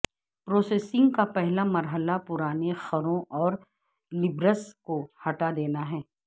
processing کا پہلا مرحلہ پرانے خروں اور لیبلز کو ہٹا دینا ہے